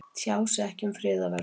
Tjá sig ekki um friðarverðlaun